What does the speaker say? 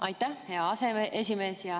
Aitäh, hea aseesimees!